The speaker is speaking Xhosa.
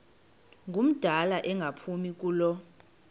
ngumdala engaphumi kulo